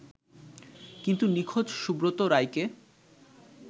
কিন্তু নিখোঁজ সুব্রত রায়কে